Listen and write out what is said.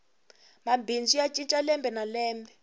mabindzu ya cinca lembe na lembe